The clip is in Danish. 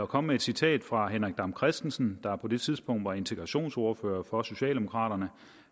komme med et citat fra transportminister henrik dam kristensen der på det tidspunkt var integrationsordfører for socialdemokraterne